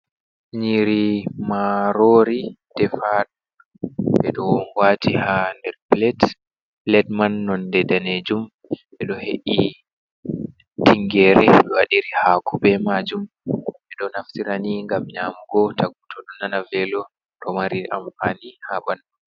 Nyiri marori defadum ɓe ɗo wbaati ha nder plate, plet man nonde danejum ɓeɗo he’i tingere ɓe wadiri hako be majum, ɓeɗo naftirani ngam nyamugo to godɗo nana velo, ɗo mari amfani ha ɓandu.